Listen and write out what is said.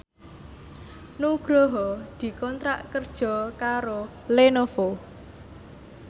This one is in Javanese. Nugroho dikontrak kerja karo Lenovo